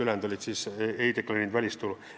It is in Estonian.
Ülejäänud ei deklareerinud välistulu.